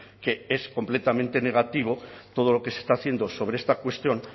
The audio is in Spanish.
que es completamente negativo todo lo que se está haciendo sobre esta cuestión